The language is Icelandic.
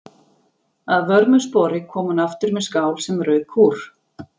Að vörmu spori kom hún aftur með skál sem rauk úr.